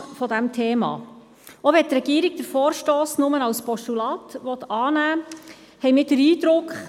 Wir kommen zum Traktandum 34, es ist eigentlich das Nachfolgegeschäft dessen, was wir vorhin gerade noch behandelt haben.